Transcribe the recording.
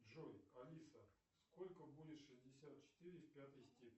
джой алиса сколько будет шестьдесят четыре в пятой степени